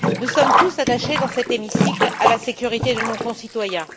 Nous sommes tous attachés dans cet hémicycle à la sécurité de nos concitoyens.